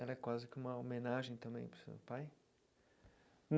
Ela é quase que uma homenagem também para o seu pai?